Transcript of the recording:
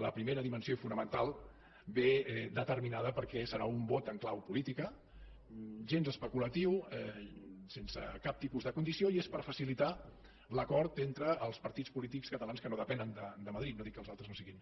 la primera dimensió i fonamental ve determinada perquè serà un vot en clau política gens especulatiu sense cap tipus de condició i és per facilitar l’acord entre els partits polítics catalans que no depenen de madrid no dic que els altres no siguin